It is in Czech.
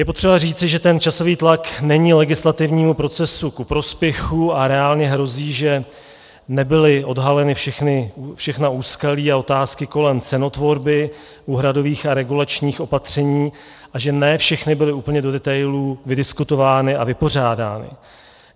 Je potřeba říci, že ten časový tlak není legislativnímu procesu ku prospěchu a reálně hrozí, že nebyla odhalena všechna úskalí a otázky kolem cenotvorby úhradových a regulačních opatření a že ne všechny byly úplně do detailů vydiskutovány a vypořádány.